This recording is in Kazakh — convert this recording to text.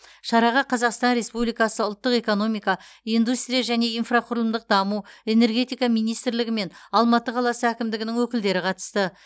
шараға қазақстан республикасы ұлттық экономика индустрия және инфрақұрылымдық даму энергетика министрлігі мен алматы қаласы әкімдігінің өкілдері қатысты